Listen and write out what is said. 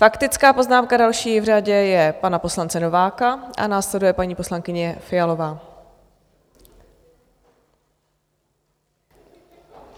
Faktická poznámka, další v řadě, je pana poslance Nováka a následuje paní poslankyně Fialová.